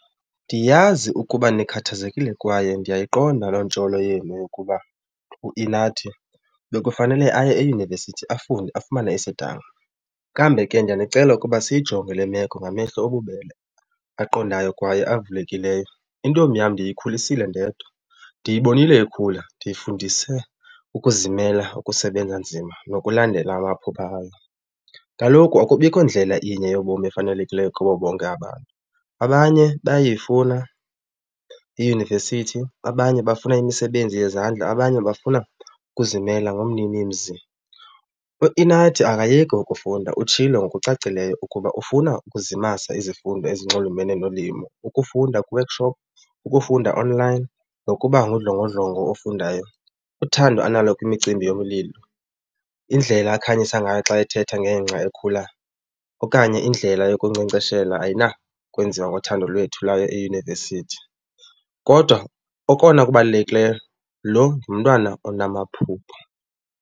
Ndiyazi ukuba nikhathazekile kwaye ndiyayiqonda loo ntsholo yenu yokuba uInathi bekufanele aye eyunivesithi afunde afumane isidanga. Kambe ke ndiyanicela ukuba siyijonge le meko ngamehlo obubele aqondayo kwaye avulekileyo. Intombi yam ndiyikhulisile ndedwa, ndiyibonile ikhula, ndiyifundise ukuzimela, ukusebenza nzima nokulandela amaphupha ayo. Kaloku akubikho ndlela inye yobomi efanelekileyo kubo bonke abantu. Abanye bayayifuna iyunivesithi, abanye bafuna imisebenzi yezandla, abanye bafuna ukuzimela ngumninimzi. UInathi akayeki ukufunda, utshilo ngokucacileyo ukuba ufuna ukuzimasa izifundo ezinxulumene nolimo, ukufunda kwi-workshop, ukufunda online nokuba ngudlongodlongo ofundayo. Uthando analo kwimicimbi yokulima, indlela akhanyisa ngayo xa ethetha ngengca ekhula okanye indlela yokunkcenkceshela ayinakwenziwa ngothando lwethu lwayo eyunivesithi. Kodwa okona kubalulekileyo lo ngumntwana onamaphupha.